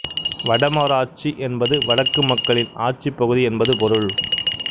வடமராட்சி என்பது வடக்கு மக்களின் ஆட்சிப் பகுதி என்பது பொருள்